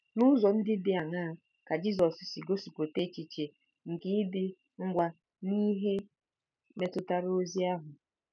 N’ụzọ ndị dị aṅaa ka Jisọs si gosipụta echiche nke ịdị ngwa n’ihe metụtara ozi ahụ?